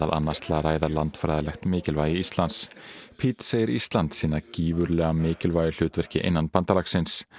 annars til að ræða landfræðilegt mikilvægi Íslands segir Ísland sinna gífurlega mikilvægu hlutverki innan bandalagsins